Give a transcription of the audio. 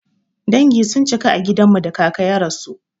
Dangi sun cika a gidan mu da kaka ya rasu.